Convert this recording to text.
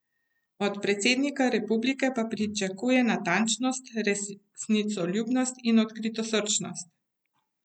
Od predsednika republike pa pričakuje natančnost, resnicoljubnost in odkritosrčnost.